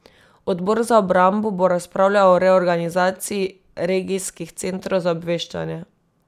Odbor za obrambo bo razpravljal o reorganizaciji regijskih centrov za obveščanje.